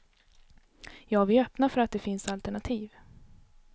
Ja, vi är öppna för att det finns alternativ.